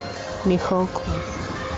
михалков